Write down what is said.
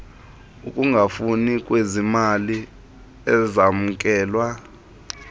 ukungafani kwezimali ezamkelwa